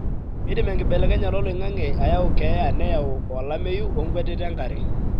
keidim enkibelekenyata oloingange ayau keyaa nayau olameu onkwetita enkare.